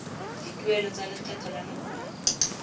dituelo tsa lekgetho la nakwana